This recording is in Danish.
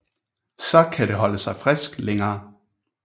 Så kan det holde sig frisk længere